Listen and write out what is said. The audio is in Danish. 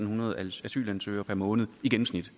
hundrede asylansøgere per måned i gennemsnit